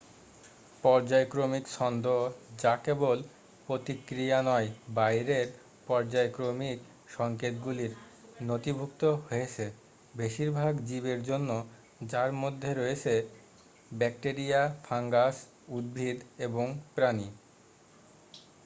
পর্যায়ক্রমিক ছন্দ যা কেবল প্রতিক্রিয়া নয় বাহিরের পর্যায়ক্রমিক সংকেতগুলির নথিভুক্ত হয়েছে বেশিরভাগ জীবের জন্য যার মধ্যে রয়েছে ব্যাকটেরিয়া ফাঙ্গাস উদ্ভিদ এবং প্রাণী